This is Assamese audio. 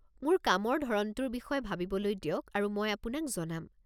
মোক কামৰ ধৰণটোৰ বিষয়ে ভাবিবলৈ দিয়ক আৰু মই আপোনাক জনাম।